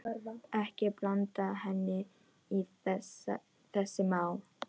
Ekki blanda henni í þessi mál.